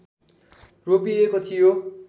रोपिएको थियो